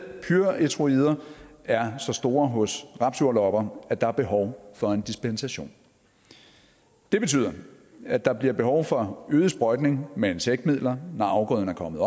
pyrethroider er så store hos rapsjordlopper at der er behov for en dispensation det betyder at der bliver behov for øget sprøjtning med insektmidler når afgrøden er kommet